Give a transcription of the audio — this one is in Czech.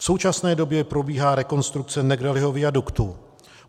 V současné době probíhá rekonstrukce Negrelliho viaduktu.